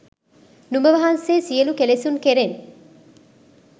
නුඹ වහන්සේ සියලු කෙලෙසුන් කෙරෙන්